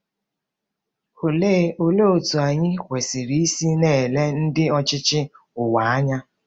Olee Olee otú anyị kwesịrị isi na-ele ndị ọchịchị ụwa anya?